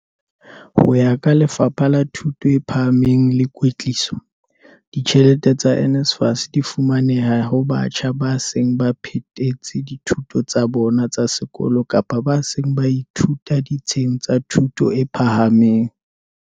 Ho ya ka Lefapha la Thuto e Phahameng le Kwetliso, ditjhelete tsa NSFAS di fumaneha ho batjha ba seng ba phethetse dithuto tsa bona tsa sekolo kapa ba seng ba ithuta ditsheng tsa thuto e phahameng.